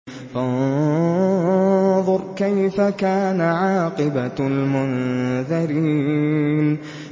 فَانظُرْ كَيْفَ كَانَ عَاقِبَةُ الْمُنذَرِينَ